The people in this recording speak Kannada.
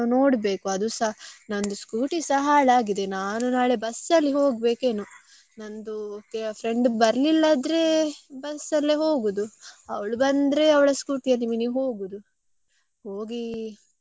ಅದುಸ ನಂದು scooty ಸ ಹಾಳಾಗಿದೆ. ನಾನು ನಾಳೆ bus ಅಲ್ಲಿ ಹೋಗಬೇಕೇನೋ ನಂದು friend ಬರ್ಲಿಲ ಆದ್ರೆ, bus ಅಲ್ಲೇ ಹೋಗುದು. ಅವ್ಳು ಬಂದ್ರೆ ಅವ್ಳ scooty ಅಲ್ಲಿ ಮಿನಿ ಹೋಗುದು ಹೋಗಿ ಎಂತ ತೊಕೊಳ್ಳುದ.